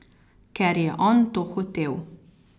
Ker je on to hotel.